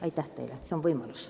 Aitäh teile!